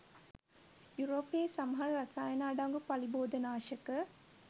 යුරෝපයේ සමහර රසායන අඩංගු පලිබෝධනාශක